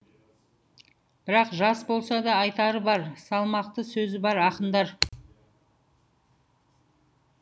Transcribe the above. бірақ жас болса да айтары бар салмақты сөзі бар ақындар